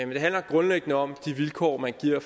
det handler grundlæggende om de vilkår man giver